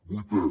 vuitè